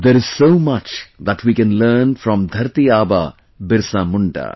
There is so much that we can learn from Dharti Aba Birsa Munda